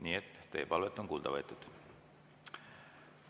Nii et teie palvet on kuulda võetud.